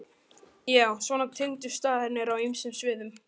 Já, svona tengdust staðirnir á ýmsum sviðum.